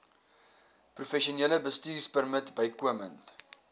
professionele bestuurpermit bykomend